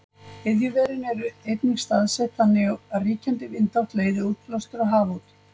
Iðjuverin eru einnig staðsett þannig að ríkjandi vindátt leiðir útblástur á haf út.